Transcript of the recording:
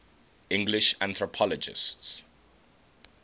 english anthropologists